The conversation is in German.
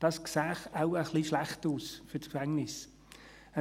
Das sähe wohl ein wenig schlecht für die Gefängnisse aus.